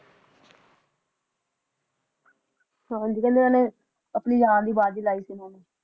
ਹਾਂਜੀ ਕਹਿੰਦੇ ਏਹੇਨਾ ਅਪਣੀ ਜਾਨ ਦੀ ਬਾਜ਼ੀ ਲਾਈ ਸੀ ਏਹੇਨਾ ਨੇ